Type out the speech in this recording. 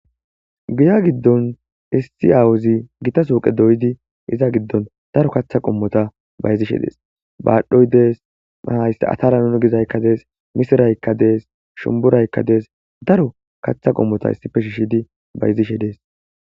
Guya giddon issi awuzi gita suqe doydi iza giddon daro katha qummota bayzishe dees baadhoy dees ahaysse atara nunu gizaykka dees misiraykka dees shumburaykka dees daro kaththa qummota issife shihshidi bayzishe dees.